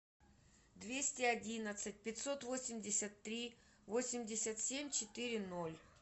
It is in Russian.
двести одиннадцать пятьсот восемьдесят три восемьдесят семь четыре ноль